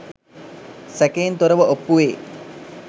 සැකයෙන් තොරව ඔප්පුවේ.